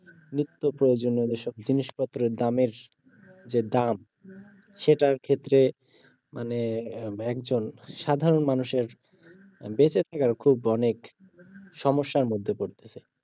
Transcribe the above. নিত্যপ্রয়োজনীয় যেসব জিনিসপত্রের দামের যে দাম সেটার ক্ষেত্রে মানে একজন সাধারন মানুষের বেঁচে থাকার খুব অনেক সমস্যার মধ্যে পড়তেছে